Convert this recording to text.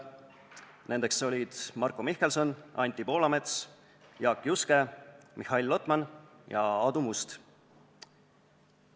Nendeks olid Marko Mihkelson, Anti Poolamets, Jaak Juske, Mihhail Lotman ja Aadu Must.